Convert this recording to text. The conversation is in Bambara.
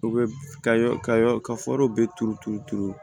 U bɛ ka yɔrɔ ka bɛ turu turu turu